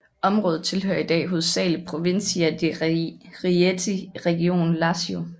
Området tilhører i dag hovedsageligt Provincia di Rieti i regionen Lazio